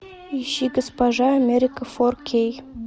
ищи госпожа америка фор кей